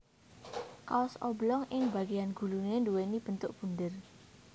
Kaos oblong ing bagéyan guluné nduwèni bentuk bunder